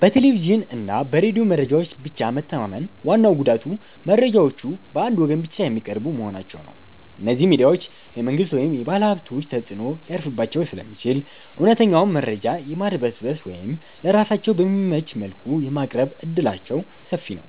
በቴሌቪዥንና በሬዲዮ መረጃዎች ላይ ብቻ መተማመን ዋናው ጉዳቱ መረጃዎቹ በአንድ ወገን ብቻ የሚቀርቡ መሆናቸው ነው። እነዚህ ሚዲያዎች የመንግሥት ወይም የባለሀብቶች ተጽዕኖ ሊያርፍባቸው ስለሚችል፣ እውነተኛውን መረጃ የማድበስበስ ወይም ለራሳቸው በሚመች መልኩ የማቅረብ ዕድላቸው ሰፊ ነው።